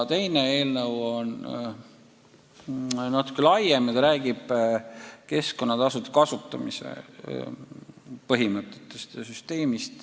Teine eelnõu on natuke laiem, räägib keskkonnatasude kasutamise põhimõtetest ja süsteemist.